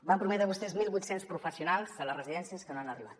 van prometre vostès mil vuit cents professionals a les residències que no han arribat